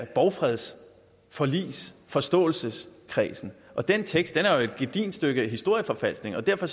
borgfreds forligs forståelseskredsen og den tekst er jo et gedigent stykke historieforfalskning og derfor